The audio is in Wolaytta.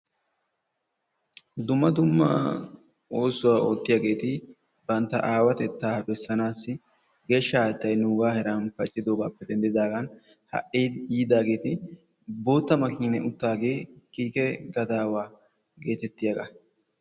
Dumma dumma oosuwaa oottiyageti bantta aawatettaa beesanassi geeshsha haattaay nuga heeran paccidagappe denddidagan ha"i yiidaagee boottaa makinen uttage kiike gadaawaa geetettiyaga.